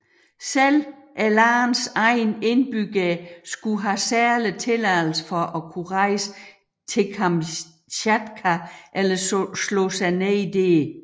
Selv landets egne indbyggere skulle have særlig tilladelse for at kunne rejse til Kamtjatka eller slå sig ned dér